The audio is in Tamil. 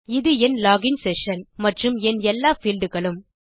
இது என் லோகின் செஷன் மற்றும் என் எல்லா பீல்ட் களும்